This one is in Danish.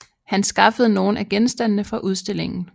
Han skaffede nogle af genstandene fra udstillingen